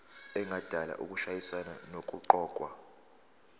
engadala ukushayisana nokuqokwa